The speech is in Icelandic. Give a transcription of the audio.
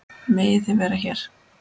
Megið þið vera hér?